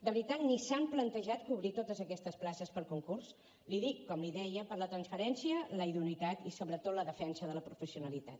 de veritat que ni s’han plantejat cobrir totes aquestes places per concurs l’hi dic com l’hi deia per la transparència la idoneïtat i sobretot la defensa de la professionalitat